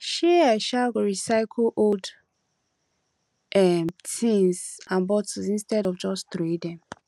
um i um go recycle old um tins and bottles instead of just troway dem